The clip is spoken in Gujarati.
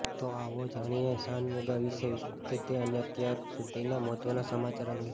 તો આવો જાણીએ શાનમુગા વિશે વિગતે અને અત્યાર સુધીના મહત્વના સમાચાર અંગે